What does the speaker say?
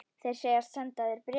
Þeir segjast senda þér bréfin.